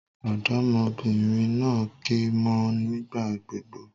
Òdómọbìnrin naa ké mó ọ nígbà gbogbo